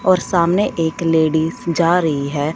और सामने एक लेडिस जा रही है।